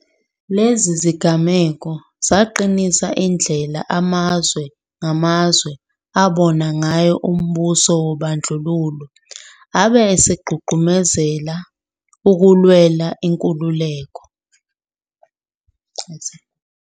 Lezi zigameko zaqinisa indlela amazwe ngamazwe abona ngayo umbuso wobandlululo abe esegqugquzela ukulwelwa kwenkululeko.